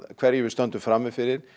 hverju við stöndum frammi fyrir